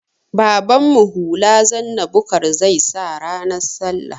Babanmu hula zanna bukar zai sa ranar sallah